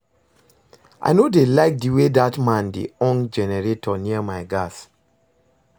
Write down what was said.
I no dey like the way dat man dey on generator near my gas